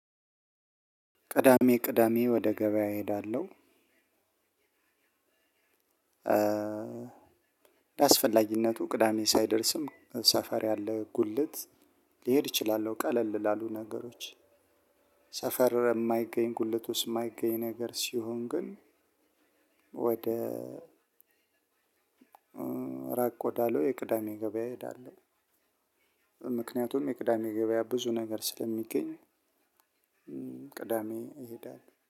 ቅዳሜ ቅዳሜ ወደ ገበያ እሄዳለሁ። እንደአስፈላጊነቱ ቅዳሜ ሳይደርስም ሰፈር ያለ ጉልት ልሄድ እችላለሁ። ቀለል ላሉ ነገሮች ሰፈር የማይገኝ ጉልበት ውስጥ የማይገኝ ነገር ሲሆን ግን ወደ ራቅ ወዳለው የቅዳሜ ገበያ እሄዳለሁ። ምክንያቱም የቅዳሜ ገበያ ብዙ ነገር ስለሚገኝ ቅዳሜ እሄዳለሁ።